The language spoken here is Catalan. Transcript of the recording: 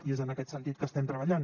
i és en aquest sentit que estem treballant